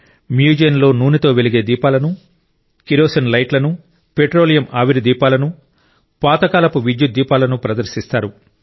మ్యూజియంలో నూనెతో వెలిగే దీపాలను కిరోసిన్ లైట్లను పెట్రోలియం ఆవిరి దీపాలను పాతకాలపు విద్యుత్ దీపాలను ప్రదర్శిస్తారు